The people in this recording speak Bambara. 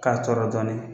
K'a tɔɔrɔ dɔɔnin